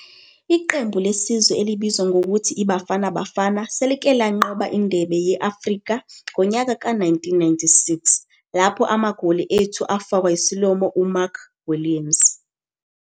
Iqembu lesizwe elibizwa ngokuthi yiBafana Bafana selike lanqoba indebe ye-Afrika, ngonyaka ka 1996, lapho amagoli ethu afakwa yisilomo uMark Williams.